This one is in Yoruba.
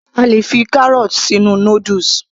A lè fi kárọ̀ọ̀tì sínú noodles